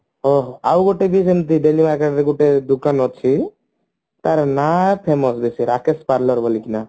ହଁ ଆଉ ଗୋଟେ ଯୋଉ ଯେମତି daily market ରେ ଗୋଟେ ଦୋକାନ ଅଛି ତାର ନାଁ famous ବେଶୀ ରାକେଶ parlor ବୋଲିକି ନା